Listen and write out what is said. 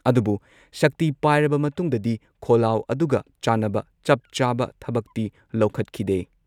ꯑꯗꯨꯕꯨ ꯁꯛꯇꯤ ꯄꯥꯏꯔꯕ ꯃꯇꯨꯡꯗꯗꯤ ꯈꯣꯜꯂꯥꯎ ꯑꯗꯨꯒ ꯆꯥꯟꯅꯕ ꯆꯞ ꯆꯥꯕ ꯊꯕꯛꯇꯤ ꯂꯧꯈꯠꯈꯤꯗꯦ ꯫